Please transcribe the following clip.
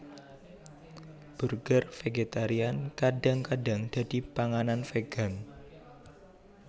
Burger vegetarian kadang kadang dadi panganan vegan